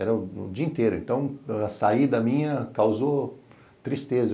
Era o dia inteiro, então a saída minha causou tristeza.